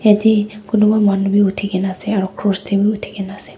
yatae kunuba manu bi uthi kaena ase aru cross tey bi uthi kaena ase.